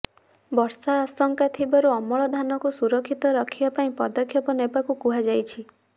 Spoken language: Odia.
ବର୍ଷା ଆଶଙ୍କା ଥିବାରୁ ଅମଳ ଧାନକୁ ସୁରକ୍ଷିତ ରଖିବା ପାଇଁ ପଦକ୍ଷେପ ନେବାକୁ କୁହାଯାଇଛି